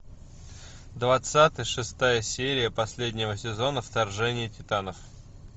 двадцатый шестая серия последнего сезона вторжение титанов